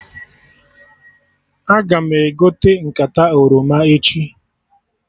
Aga m egote nkata oroma echi